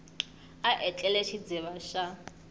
a etlele i xidziva xa